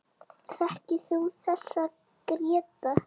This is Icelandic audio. Þekkir þú þessa, Gréta?